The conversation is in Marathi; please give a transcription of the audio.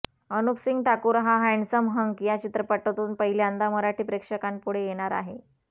अनुपसिंग ठाकूर हा हँडसम हंक या चित्रपटातून पहिल्यांदा मराठी प्रेक्षकांपुढे येणार आहे